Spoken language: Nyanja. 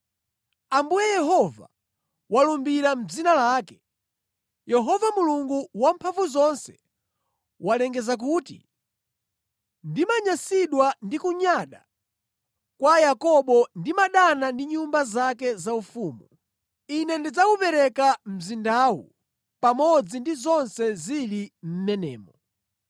Ambuye Yehova walumbira mʼdzina lake. Yehova Mulungu Wamphamvuzonse walengeza kuti, “Ndimanyansidwa ndi kunyada kwa Yakobo, ndimadana ndi nyumba zake zaufumu; Ine ndidzawupereka mzindawu pamodzi ndi zonse zili mʼmenemo.”